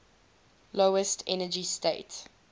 lowest energy state